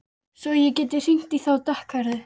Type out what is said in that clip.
Svo ég geti hringt í þá dökkhærðu.